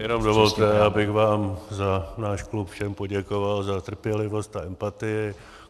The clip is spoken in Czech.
Jenom dovolte, abych vám za náš klub všem poděkoval za trpělivost a empatii.